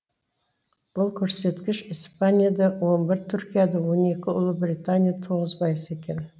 бұл көрсеткіш испанияда он бір түркияда он екі ұлыбританияда тоғыз пайыз екен